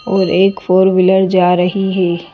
और एक four wheeler जा रही है ।